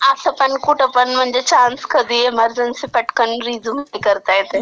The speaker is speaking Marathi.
असं पण कुठं पण म्हणजे चान्स कधी इमर्जनसी रिझ्यूम पटकन हे करता येतंय.